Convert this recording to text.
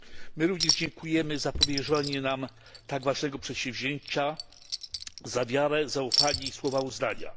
My również dziękujemy za powierzenie nam tak ważnego przedsięwzięcia, za wiarę, zaufanie i słowa uznania.